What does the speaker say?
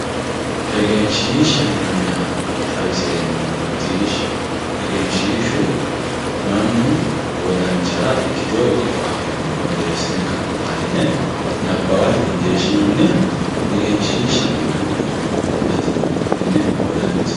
egenshiishsha yinanniha xawiseemmohena macciishshi egenshiishshu mannu wodanchara ikkiteyo ikkito afara yine ka'ne borreessine nabbawate xallinoonniha egenshiishshaho yinannina atino tenne wodanchi